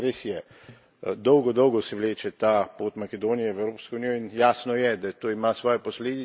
Res je, dolgo dolgo se vleče ta pot Makedonije v Evropsko unijo, in jasno je, da to ima svoje posledice.